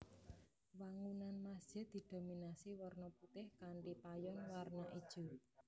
Wangunan masjid didominasi warna putih kanthi payon warna ijo